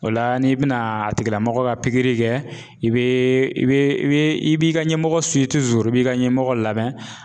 O la n'i bɛna a tigilamɔgɔ ka pikiri kɛ i bɛ i bɛ i bɛ i b'i ka ɲɛmɔgɔ i b'i ka ɲɛmɔgɔ lamɛn.